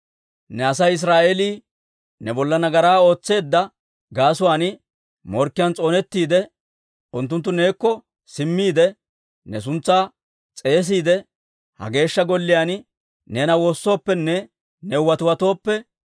«Ne Asay Israa'eelii ne bolla nagaraa ootseedda gaasuwaan morkkiyaan s'oonettiide, unttunttu neekko simmiide, ne suntsaa s'eesiide, ha Geeshsha Golliyaan neena woossooppenne new watiwatooppe,